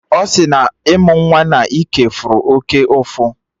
Ọ sị na ịmụ nwa na ike fụrụ oké ụfụ